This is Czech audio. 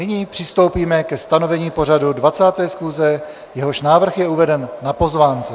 Nyní přistoupíme ke stanovení pořadu 20. schůze, jehož návrh je uveden na pozvánce.